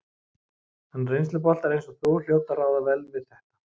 En reynsluboltar eins og þú hljóta að ráða vel við þetta?